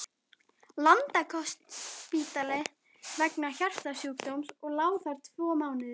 Landakotsspítala vegna hjartasjúkdóms og lá þar tvo mánuði.